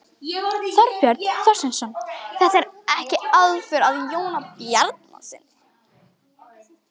Þorbjörn Þórðarson: Þetta er ekki aðför að Jóni Bjarnasyni?